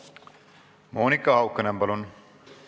Monika Haukanõmm, palun!